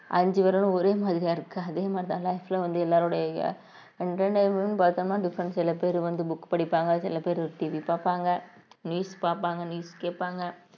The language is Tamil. அஞ்சு விரலும் ஒரே மாதிரியா இருக்காது அதே மாதிரிதான் life ல வந்து எல்லாருடையும் entertainment னு பார்த்தோம்ன்னா different சில பேர் வந்து book படிப்பாங்க சில பேர் TV பார்ப்பாங்க news பாப்பாங்க news கேட்பாங்க